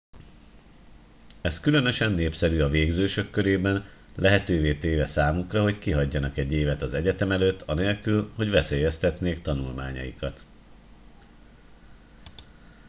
ez különösen népszerű az végzősök körében lehetővé téve számukra hogy kihagyjanak egy évet az egyetem előtt anélkül hogy veszélyeztetnék tanulmányaikat